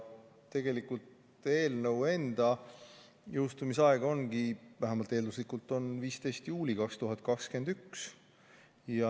Tegelikult eelnõu enda jõustumise aeg ongi, vähemalt eelduslikult, 15. juuli 2021.